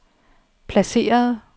placeret